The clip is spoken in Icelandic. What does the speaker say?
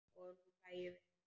Og nú hlæjum við bæði.